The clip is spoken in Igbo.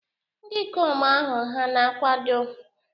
Ndị ikom ahụ hà na-akwado?